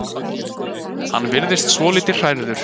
Hann virðist svolítið hrærður.